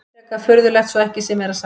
Frekar furðulegt svo ekki sé meira sagt.